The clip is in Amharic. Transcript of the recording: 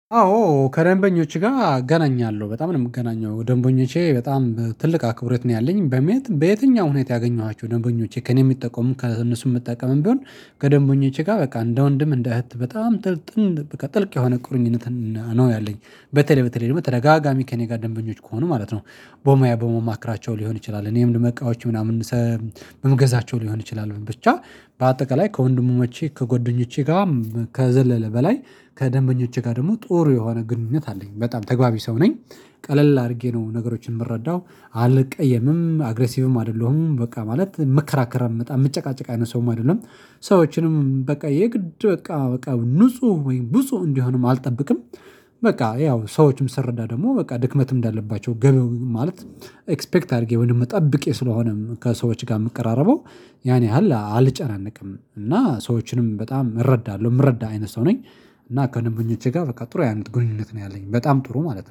አዎ ከደንበኞች ጋር አገናኛለሁ በጣም ነው የምገናኘው ደንበኞቼ በጣም ትልቅ አክብሮት ነው ያለኝ በመኘት በየትኛው ሁኔታ ያገኘኋቸው ደንበኞቼ ከእኔ የሚጠቀሙ ከእነሱ የምጠቀምም ቢሆን። ከደንበኞቼ ጋር በቃ እንደ ወንድም እንደ እህት በጣም ጥልቅ በቃ ጥልቅ የሆነ ቁርኝነት ነው ያለኝ በተለይ በተለይ ደግሞ ተደጋጋሚ ከእኔ ጋር ደንበኞች ከሆኑ ማለት ነው። በሙያ በሙማክራቸው ሊሆን ይችላል እኔም ለመቃወች ምናምን ሰም በምገዛቸው ሊሆን ይችላል ብቻ። በአጠቃላይ ከወንድሙ መቼ ከጎደኞቼ ጋር ከዘለለ በላይ ከደንበኞቼ ጋር ደግሞ ጦሩ የሆነ ግንኙነት አለኝ በጣም ተግባቢ ሰው ነኝ። ቀለል አድርጌ ነው ነገሮችን የምረዳው አለቀየምም አግሬሲቭም አይደለሁም በቃ ማለት መከራከር አመጣ መጨቃጨቅ አይደለም። ሰዎችንም በቃ የግድ በቃ ንጹህ ወይም ብጹህ እንዲሆንም አልጠብቅም። በቃ ያው ሰዎችም ሰርዳ ደግሞ በቃ ድክመትም እንዳለባቸው ገበው ማለት። ኤክስፔክት አድርጌ ወይም ጠብቄ ስለሆነም ከሰዎች ጋር የምቀራረበው ያን ያህል አልጨናነቅም እና ሰዎችንም በጣም እረዳለሁ የምረዳ አይነት ሰው ነኝ። እና ከደንበኞቼ ጋር በቃ ጥሩ አይነት ግንኙነት ነው ያለኝ በጣም ጥሩ ማለት ነው